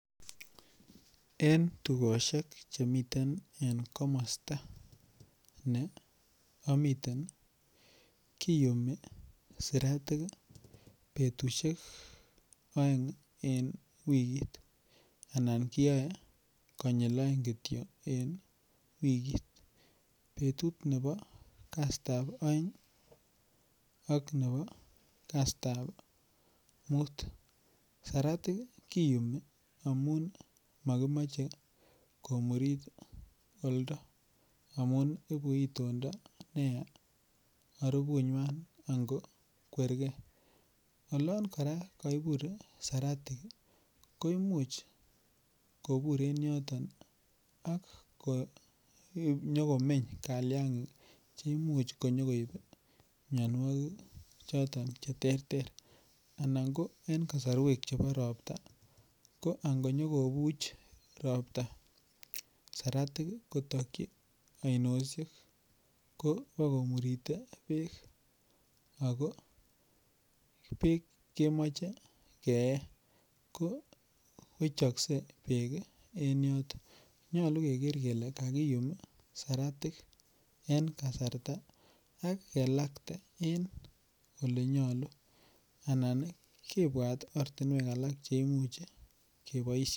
En tukoshek chemiten en komosta ne amiten kiyumi sitatika betushek oeng' en wikit anan kiyoei konyil oeng' kityo en wikit betut nebo kasitab oeng' ak nebo kasitab muut saratik kiyumi amun makimoche komurit oldo amu ibu itondo neya arupunywai ako kwergei olon kora kaibut saratik ko imuuch kobur en yoton ak konyikomeny kaliang'ik cheimuch konyi koib miyonwokik choton cheterter anan ko eng' kasarwek chebo ropta ko angonyokobuch ropta saratik kotokchi ainoshek ko bokomurite beek ako beek kemoche kee ko wechoksei beek en yoto nyolu keker kele kakiyum saratik en kasarta ak kelakte en ole nyolu anan kebwat ortinwek alak cheimuchi keboishe